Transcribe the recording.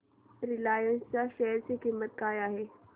Reliance च्या share ची किंमत काय आहे